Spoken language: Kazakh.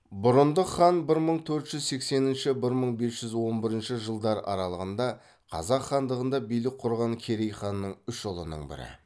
бұрындық хан бір мың төрт жүз сексенінші бір мың бес жүз он бірінші жылдар аралығында қазақ хандығында билік құрған керей ханның үш ұлының бірі